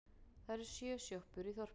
Það eru sjö sjoppur í þorpinu!